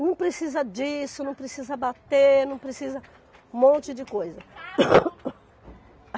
Não precisa disso, não precisa bater, não precisa Um monte de coisa.